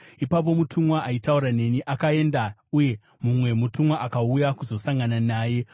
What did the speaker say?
Ipapo mutumwa aitaura neni akaenda, uye mumwe mutumwa akauya kuzosangana naye